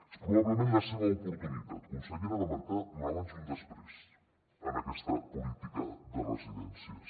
és probablement la seva oportunitat conse·llera de marcar un abans i un després en aquesta política de residències